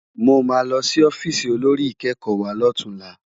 Mó má lò si òfìsí ôlórí ikèékò wá lòtúnlá